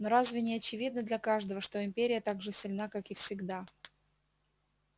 но разве не очевидно для каждого что империя так же сильна как и всегда